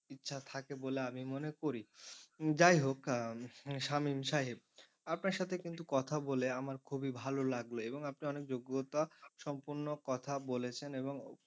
ইচ্ছা থাকে বলে আমি মনে করি যাইহোক শামীম সাহেব আপনার সাথে কিন্তু কথা বলে আমার খুবই ভালো লাগলো এবং আপনি অনেক যোগ্যতা সম্পন্ন কথা বলেছেন এবং,